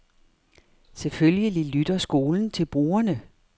Selvfølgelig lytter skolen til brugerne.